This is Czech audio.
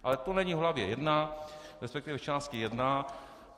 Ale to není v hlavě jedna, respektive v části jedna.